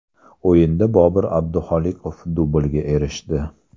O‘yinda Bobir Abdiholiqov dublga erishdi.